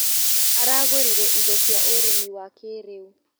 Aragũrire indo cia ũrĩmi wa kĩrĩu.